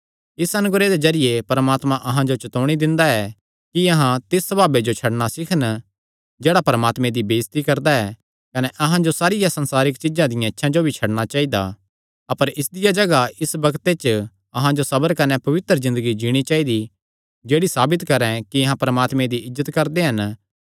इस अनुग्रह दे जरिये परमात्मा अहां जो चतौणी दिंदा ऐ कि अहां तिस सभावे जो छड्डणा सीखन जेह्ड़ा परमात्मे दी बेइज्जती करदा ऐ कने अहां जो सारियां संसारिक चीज्जां दियां इच्छां जो भी छड्डणा चाइदा अपर इसदिया जगाह इस बग्ते च अहां जो सबर कने पवित्र ज़िन्दगी जीणी चाइदी जेह्ड़ी साबित करैं कि अहां परमात्मे दी इज्जत करदे हन